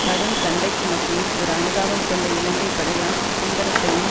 கடும் சண்டைக்கு மத்தியில் ஒரு அனுதாபம் கொண்ட இலங்கை படையாள் சுந்தரத்தையும்